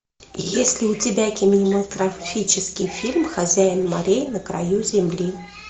есть ли у тебя кинематографический фильм хозяин морей на краю земли